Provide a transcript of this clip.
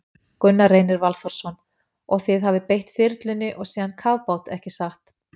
Gunnar Reynir Valþórsson: Og þið hafið beitt þyrlunni og síðan kafbát, ekki satt?